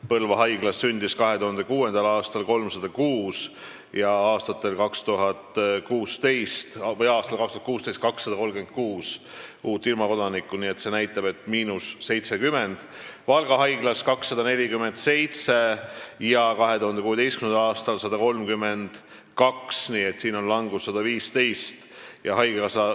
Põlva haiglas sündis 2006. aastal 306 ja 2016. aastal 236 uut ilmakodanikku, nii et –70, Valga haiglas sündis 2006. aastal 247 ja 2016. aastal 132, nii et siin on langus 115 sündi.